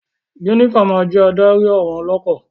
Jenifa ma jẹ adarí àwọn ọlọkọ.